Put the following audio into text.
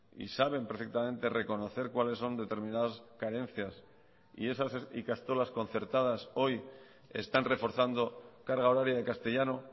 y saben perfectamente reconocer cuáles son determinadas carencias y esas ikastolas concertadas hoy están reforzando carga horaria de castellano